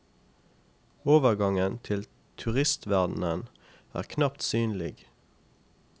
Overgangen til turistverdenen er knapt synlig.